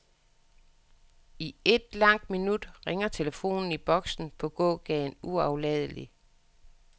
I et langt minut ringer telefonen i boksen på gågaden uafladeligt.